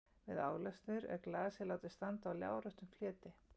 Við álestur er glasið látið standa á láréttum fleti.